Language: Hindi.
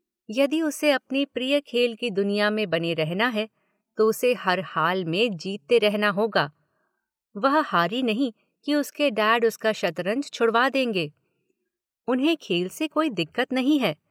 यदि उसे अपने प्रिय खेल की दुनिया में बने रहना है तो उसे हर हाल में जीतते रहना होगा – वह हारी नहीं कि उसके डैड उसका शतरंज छुड़वा देंगे – उन्हें खेल से कोई दिक्कत नहीं है।